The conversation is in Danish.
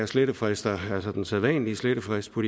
slettefrister altså den sædvanlige slettefrist på